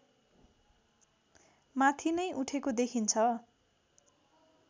माथि नै उठेको देखिन्छ